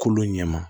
Kolo ɲɛma